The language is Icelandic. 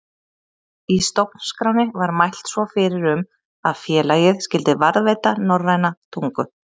Í stofnskránni var mælt svo fyrir um að félagið skyldi varðveita norræna tungu.